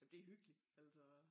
Det hyggeligt altså